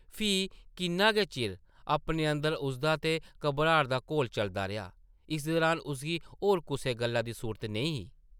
फ्ही किन्ना गै चिर अपने अंदर उसदा ते घबराट दा घोल चलदा रेहा । इस दरान उसगी होर कुसै गल्ला दी सुर्त नेईं रेही ।